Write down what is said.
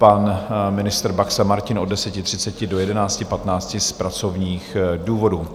Pan ministr Baxa Martin od 10.30 do 11.15 z pracovních důvodů.